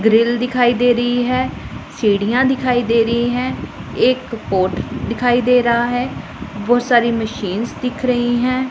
Grill दिखाई दे रही है सीढ़ियां दिखाई दे रही हैं एक पॉट दिखाई दे रहा है बहोत सारी मशीनस दिख रही हैं।